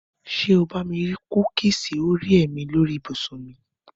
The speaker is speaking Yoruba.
Ṣé o bá mi rí kúkìsì Orea mi lórí ibùsùn mi?